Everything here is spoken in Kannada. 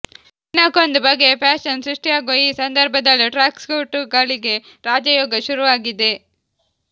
ದಿನಕ್ಕೊಂದು ಬಗೆಯ ಫ್ಯಾಷನ್ ಸೃಷ್ಟಿಯಾಗುವ ಈ ಸಂದರ್ಭದಲ್ಲಿ ಟ್ರ್ಯಾಕ್ಸೂಟ್ಗಳಿಗೆ ರಾಜಯೋಗ ಶುರುವಾಗಿದೆ